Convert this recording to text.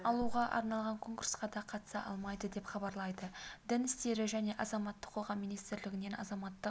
алуға арналған конкурсқа да қатыса алмайды деп хабарлайды дін істері және азаматтық қоғам министрлігінің азаматтық